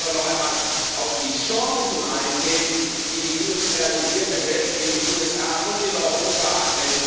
Ich möchte aber noch einmal auf die Chancen eingehen, die die industrialisierte Welt in den USA und in Europa hat.